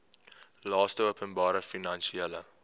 laste openbare finansiële